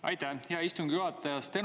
Aitäh, hea istungi juhataja!